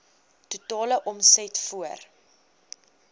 totale omset voor